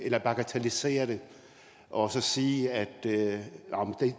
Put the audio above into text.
at bagatellisere det og sige at